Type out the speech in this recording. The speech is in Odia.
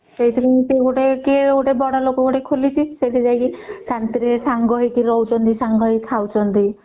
ସେଇଟା ଗୋଟେ ବଡ ଲୋକ କିଏ ଗୋଟେ ଖୋଲିଚି ସେଇଠି ଯାଇକି ଶାନ୍ତି ରେ ସାଙ୍ଗ ହେଇକି ରହୁଛନ୍ତି ସାଙ୍ଗ ହେଇକି ଖାଉଛନ୍ତି